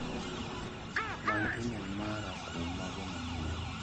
Many imel mara kuom mago manyien.